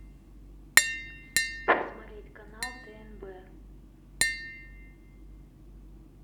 посмотреть канал тнб